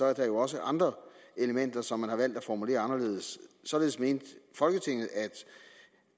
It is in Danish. er der jo også andre elementer som man har valgt at formulere anderledes således mente folketinget at